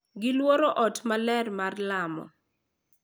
Giluoro ot maler mar lamo.